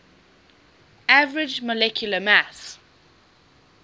average molecular mass